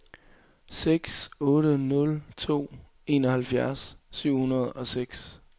seks otte nul to enoghalvfjerds syv hundrede og seks